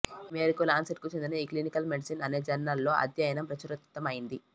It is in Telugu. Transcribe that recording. ఈ మేరకు లాన్సెట్కు చెందిన ఈక్లినికల్మెడిసిన్ అనే జర్నల్లో అధ్యయనం ప్రచురితమైంది